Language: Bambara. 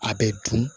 A bɛ dun